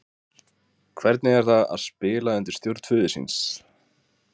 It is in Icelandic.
Hvernig er það að spila undir stjórn föður síns?